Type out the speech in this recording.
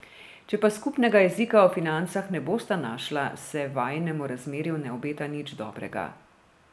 Če pa skupnega jezika o financah ne bosta našla, se vajinemu razmerju ne obeta nič dobrega.